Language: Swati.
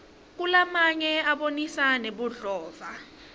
kunalamanye abonisa nebudlova